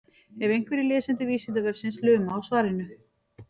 ef einhverjir lesendur vísindavefsins luma á svarinu